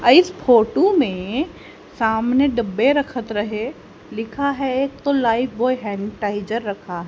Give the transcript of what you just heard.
अ इस फोटू में सामने डब्बे रखत रहे लिखा है एक तो लाइफबॉय हैनिटाइजर सैनिटाइजर रखा --